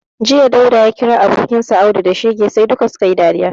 Jiya, Dauda ya kira abokinsa Audu da shege sai duk su ka yi dariya